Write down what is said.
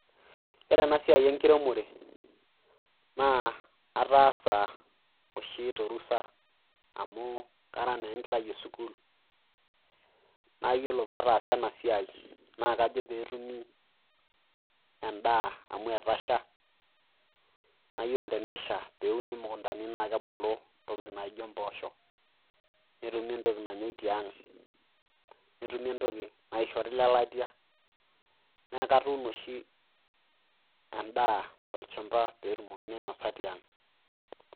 Iyiolo ena siai enkiremore naa ataasa oshi torusa amu kara naa enkerai e sukul. Naa iyiolo paa taasa ena siai kajo pee etumi endaa amu etasha. Na iyiolo pee esha pee uni mukundani naake ebulu intokiting' najio emposho. Netumi entoki nanyai tiang'. Netumi entoki naishori ilelatia, naa katuuno oshi endaa pee etumoki ainosa tiang'.